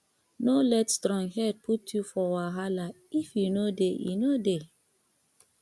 no let stronghead put yu for wahala if e no dey e no dey